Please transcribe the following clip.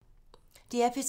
DR P3